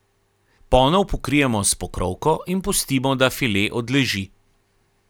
Ponev pokrijemo s pokrovko in pustimo da file odleži.